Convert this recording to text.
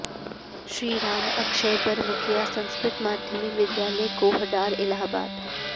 श्री राम अक्षयबर मुखिया संस्कृत माध्यमिक विद्यालय कोहडार इलाहाबाद